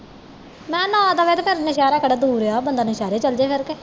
ਮੈ ਨਾ ਦਵੇ ਤੇ ਫਿਰ ਨੁਸਹੇਰਾ ਕਿਹੜਾ ਦੂਰ ਆ ਬੰਦਾ ਨੁਸਹੇਰਾ ਚੱਲ ਜੇ ਫਿਰ ਤੇ